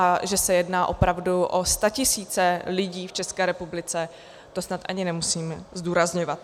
A že se jedná opravdu o statisíce lidí v České republice, to snad ani nemusím zdůrazňovat.